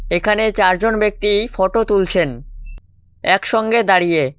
এখানে চারজন ব্যক্তি ফটো তুলছেন একসঙ্গে দাঁড়িয়ে।